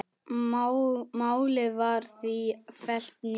Málið var því fellt niður.